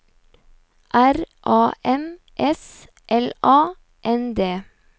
R A M S L A N D